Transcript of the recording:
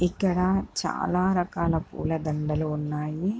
ఇక్కడ చాలా రకాల పూల దాండలు ఉన్నాయి.